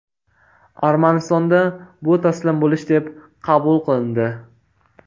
Armanistonda bu taslim bo‘lish deb qabul qilindi.